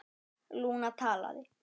Lúna talaði: